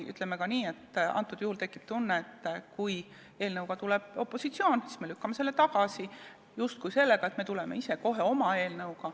Ütleme ka nii, et tekib tunne, et kui eelnõuga tuleb välja opositsioon, siis see lükatakse tagasi põhjendusega, et tullakse kohe ise oma eelnõuga.